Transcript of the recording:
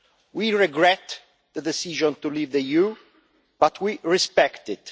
We regret the decision to leave the EU, but we respect it.